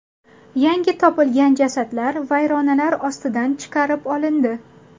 Yangi topilgan jasadlar vayronalar ostidan chiqarib olindi.